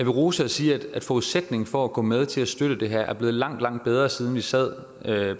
ros og sige at forudsætningen for at kunne gå med til at støtte det her er blevet langt langt bedre siden vi sad